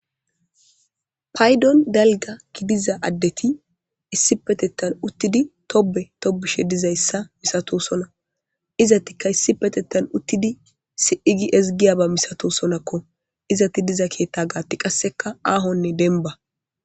Paydon dalga gidiza addeti issi petettan uttidi tobe tobishe dizayssa misato sona izatika issi petettan uttidi si'igi ezgiya ba misato sonakko izati diza keetta gaatti qasseka aahonne denba.